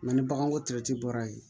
Nka ni baganko bɔra yen